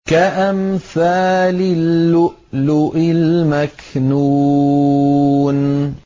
كَأَمْثَالِ اللُّؤْلُؤِ الْمَكْنُونِ